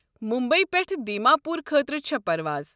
مُمبیی پٮ۪ٹھٕ دیماپور خٲطرٕ چھےٚ پروازٕ۔